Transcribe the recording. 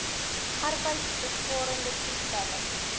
arbeidsbesparende toestelle